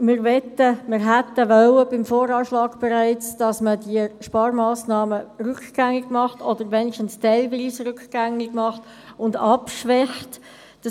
Wir wollten, dass diese Sparmassnahmen bereits beim VA rückgängig oder wenigstens teilweise rückgängig gemacht und abgeschwächt werden.